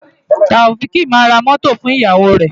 Taofiq máa ra mọ́tò fún ìyàwó rẹ̀.